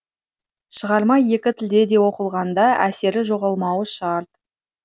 шығарма екі тілде де оқылғанда әсері жоғалмауы шарт